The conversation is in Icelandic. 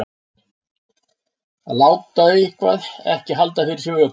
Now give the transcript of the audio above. Að láta eitthvað ekki halda fyrir sér vöku